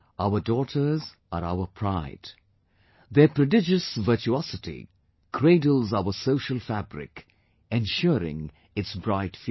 Our daughters are our pride...their prodigious virtuosity cradles our social fabric, ensuring its bright future